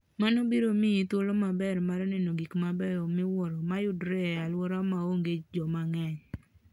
Mano biro miyi thuolo maber mar neno gik mabeyo miwuoro ma yudore e alworano ma onge joma ng'eny.